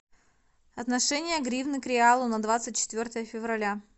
отношение гривны к реалу на двадцать четвертое февраля